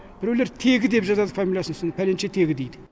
біреулер тегі деп жазады фамилиясын сосын пәленшетегі дейді